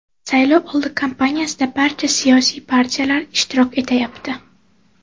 Saylovoldi kampaniyasida barcha siyosiy partiyalar ishtirok etayapti.